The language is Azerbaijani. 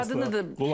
Uje adını da qoyub.